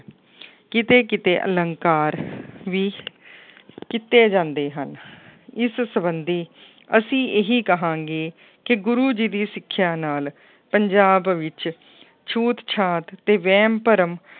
ਕਿਤੇ ਕਿਤੇ ਅਲੰਕਾਰ ਵੀ ਕੀਤੇ ਜਾਂਦੇ ਹਨ ਇਸ ਸੰਬੰਧੀ ਅਸੀਂ ਇਹੀ ਕਹਾਂਗੇ ਕਿ ਗੁਰੂ ਜੀ ਦੀ ਸਿੱਖਿਆ ਨਾਲ ਪੰਜਾਬ ਵਿੱਚ ਛੂਤ ਛਾਤ ਤੇ ਵਹਿਮ ਭਰਮ